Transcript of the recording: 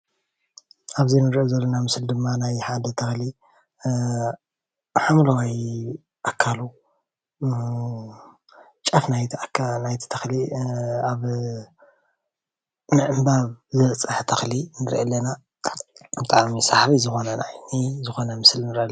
ኣብዚ ንሪኦ ዘለና ምስሊ ድማ ሓደ ሰኣሊ ሓምለዋይ ኣካሉ ጫፍ ናይቲ ተኽሊ ኣብ ምዕንባብ ዝበፅሐ ተኽሊ ንሪኢ ኣለና፡፡ ብጣዕሚ ሰሓቢ ዝኾነ ራእይ ዝኾነ ምስሊ ንርኢ ኣለና፡፡